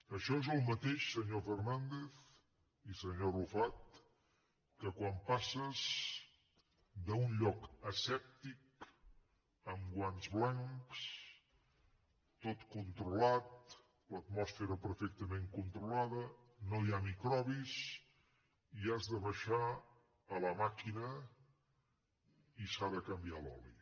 això és el mateix senyor fernàndez i senyor arrufat que quan passes d’un lloc asèptic amb guants blancs tot controlat l’atmosfera perfectament controlada no hi ha microbis i has de baixar a la màquina i s’ha de canviar l’oli